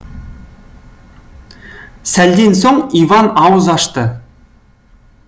сәлден соң иван ауыз ашты